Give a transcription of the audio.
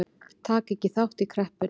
Taka ekki þátt í kreppunni